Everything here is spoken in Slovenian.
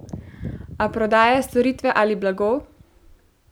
A prodaja storitve ali blago?